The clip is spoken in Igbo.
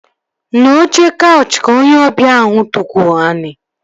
N'oche kaụchị ka onye ọbịa ahụ tukwu ani